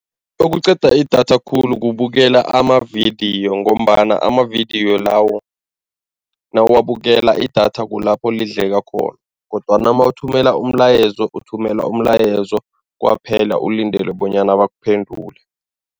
Okuqeda idatha khulu kubukela amavidiyo ngombana amavidiyo lawo nawuwabukela idatha kulapho lidleka khona kodwana mawuthumela umlayezo, uthumela umlayezo kwaphela ulindele bonyana bakuphendule.